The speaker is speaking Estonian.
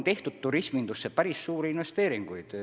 Turismindusse on tehtud päris suuri investeeringuid.